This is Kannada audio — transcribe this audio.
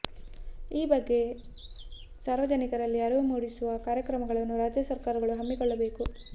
ಈ ಬಗ್ಗೆ ಸಾರ್ವಜನಿಕರಲ್ಲಿ ಅರಿವು ಮೂಡಿಸುವ ಕಾರ್ಯಕ್ರಮಗಳನ್ನು ರಾಜ್ಯ ಸರ್ಕಾರಗಳು ಹಮ್ಮಿಕೊಳ್ಳಬೇಕು